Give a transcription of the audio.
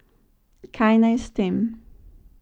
Kaj naj s tem?